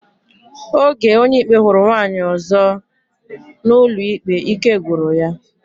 Oge Onyeikpe huru nwaanyi ozo na ụlọikpe, ike gwuru ya.